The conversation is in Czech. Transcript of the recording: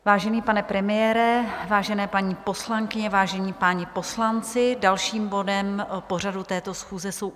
Vážený pane premiére, vážené paní poslankyně, vážení páni poslanci, dalším bodem pořadu této schůze jsou